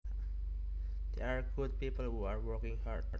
They are good people who are working hard